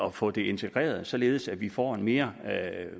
at få det integreret således at vi får en mere